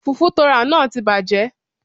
Fùfú tóo rà náà ti bàjẹ́